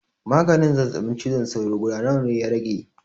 Maganin zazzaɓin cizon sauro guda nawa ya rage?